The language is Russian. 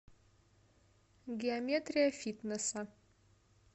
геометрия фитнеса